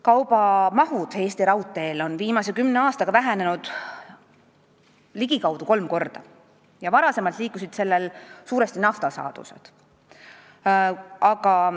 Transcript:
Kaubamahud Eesti raudteel on viimase kümne aastaga vähenenud ligikaudu kolm korda, varem liikusid mööda seda peamiselt naftasaadused.